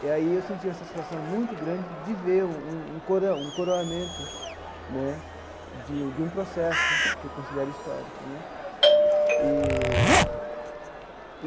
E aí eu senti uma satisfação muito grande de ver um um coroa um coroamento né de de um processo que eu considero histórico né eee.